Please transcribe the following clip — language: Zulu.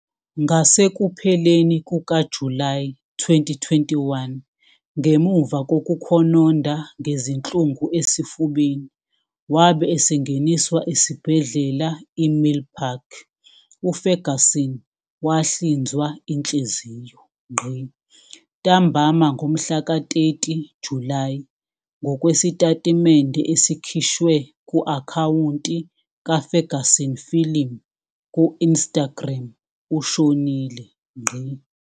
Ngasekupheleni kukaJulayi 2021, ngemuva kokukhononda ngezinhlungu esifubeni wabe esengeniswa esibhedlela iMilpark, uFerguson wahlinzwa inhliziyo. Ntambama ngomhlaka 30 Julayi, ngokwesitatimende esikhishwe ku- akhawunti kaFerguson Film ku-Instagram, ushonile.